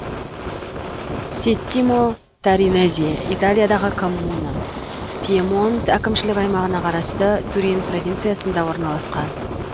сеттимо торинезе италиядағы коммуна пьемонт әкімшілік аймағына қарасты турин провинциясында орналасқан